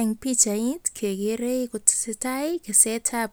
En pichait kegere kotesetai kesetab